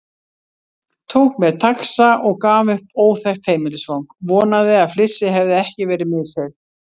Tók mér taxa og gaf upp óþekkt heimilisfang, vonaði að flissið hefði ekki verið misheyrn.